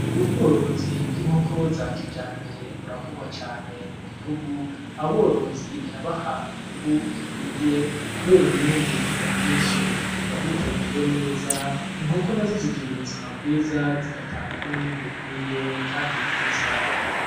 Ubworozi bw'inkoko za kijambere burakorwa cane mu gihugu, aborozi birabaha inyungu ikwiye kubera umwimbu uba mwinshi biba biteguwe neza, inkoko nazo zigira ubuzima bwiza zigatanga n'umwimbu ukwiye kandi mwiza.